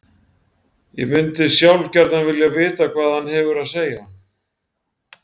Ég mundi sjálf gjarnan vilja vita hvað hann hefur að segja.